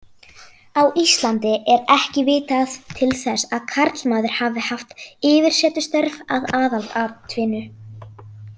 Á Íslandi er ekki vitað til þess að karlmaður hafi haft yfirsetustörf að aðalatvinnu.